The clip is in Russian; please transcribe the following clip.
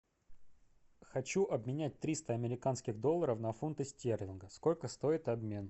хочу обменять триста американских долларов на фунты стерлингов сколько стоит обмен